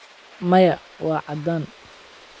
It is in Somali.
Maya, waa caddaan.